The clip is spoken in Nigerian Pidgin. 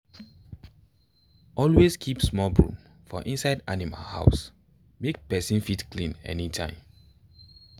always keep small broom for inside animal house make person fit clean anytime.